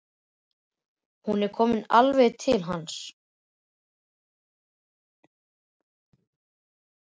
Hún er komin alveg til hans.